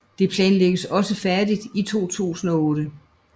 Dette planlægges også færdigt i 2008